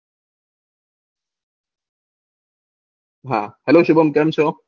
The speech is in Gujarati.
Hello શુભમ કેમ છો